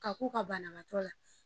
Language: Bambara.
K'a ku ka banabaatɔ ye